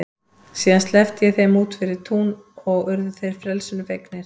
Síðan sleppti ég þeim út fyrir tún og urðu þeir frelsinu fegnir.